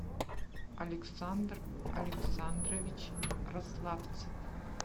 александр александрович рославцев